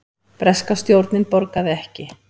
Breska stjórnin borgaði ekki